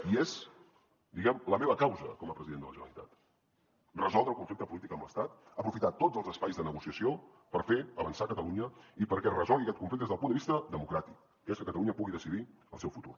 i és diguem ne la meva causa com a president de la generalitat resoldre el conflicte polític amb l’estat aprofitar tots els espais de negociació per fer avançar catalunya i perquè es resolgui aquest conflicte des del punt de vista democràtic que és que catalunya pugui decidir el seu futur